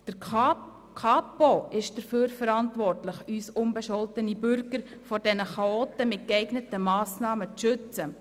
Die Kapo ist dafür verantwortlich, uns unbescholtene Bürger mit geeigneten Massnahmen vor den Chaoten zu schützen.